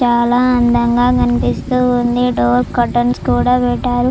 చాలా అందంగా కనిపిస్తుంది డోర్ కర్టన్స్ కూడా పెట్టారు.